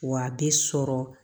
Wa a bɛ sɔrɔ